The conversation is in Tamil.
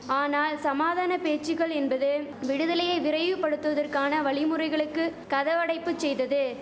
ஆனால் சமாதான பேச்சுகள் என்பது விடுதலையை விரைவுபடுத்துவதற்கான வழிமுறைகளுக்கு கதவடைப்பு செய்தது